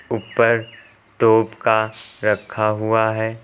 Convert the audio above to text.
ऊपर तोप का रखा हुआ है।